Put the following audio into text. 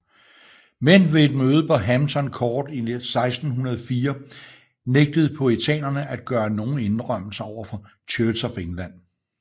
Men ved et møde på Hampton Court i 1604 nægtede puritanerne at gøre nogen indrømmelser overfor Church of England